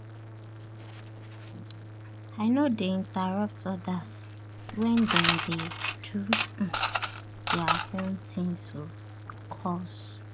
i no dey interrupt others wen dem dey do um their own thingsor calls.